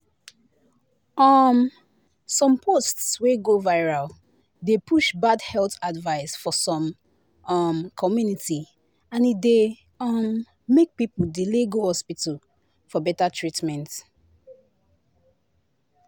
um some post wey go viral dey push bad health advice for some um community and e dey um make people delay go hospital for better treatment."